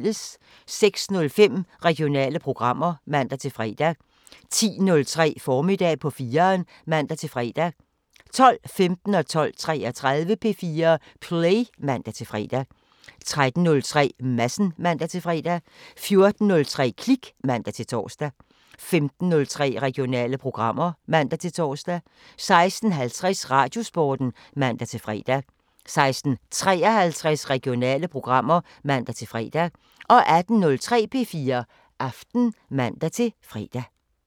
06:05: Regionale programmer (man-fre) 10:03: Formiddag på 4'eren (man-fre) 12:15: P4 Play (man-fre) 12:33: P4 Play (man-fre) 13:03: Madsen (man-fre) 14:03: Klik (man-tor) 15:03: Regionale programmer (man-tor) 16:50: Radiosporten (man-fre) 16:53: Regionale programmer (man-fre) 18:03: P4 Aften (man-fre)